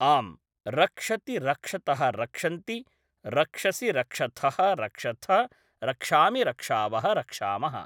आम् रक्षति रक्षतः रक्षन्ति रक्षसि रक्षथः रक्षथ रक्षामि रक्षावः रक्षामः